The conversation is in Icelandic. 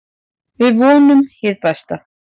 Við vonum hið besta.